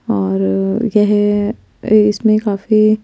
और येह इसमें काफी--